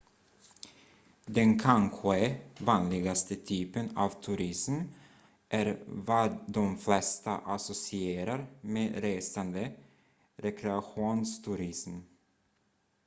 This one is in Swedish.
den kanske vanligaste typen av turism är vad de flesta associerar med resande rekreationsturism